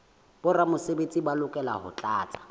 boramesebetsi ba lokela ho tlatsa